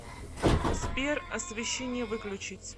сбер освещение выключить